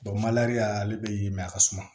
mali y'a ale be mɛ a ka suma